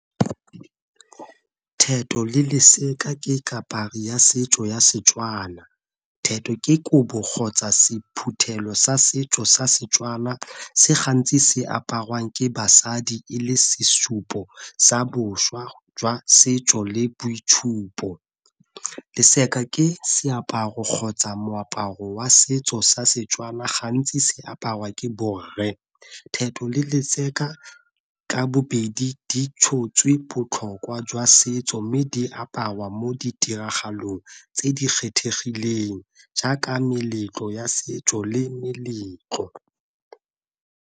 ke kapari ya setso ya Setswana, ke kobo kgotsa sephuthelo sa setso sa Setswana se gantsi se aparwang ke basadi e le sesupo sa boswa jwa setso le boitsupo. ke seaparo kgotsa moaparo wa setso sa Setswana gantsi se aparwa ke borre, ka bobedi di tshotswe botlhokwa jwa setso, mme di aparwa mo ditiragalong tse di kgethegileng jaaka meletlo ya setso le meletlo.